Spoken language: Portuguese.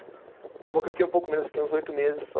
Acabou que eu fiquei um pouco menos, fiquei uns oito meses só.